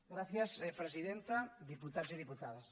gràcies presidenta diputats i diputades